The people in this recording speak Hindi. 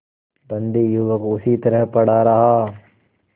बंदी युवक उसी तरह पड़ा रहा